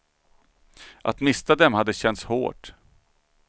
Att mista dem hade känts hårt.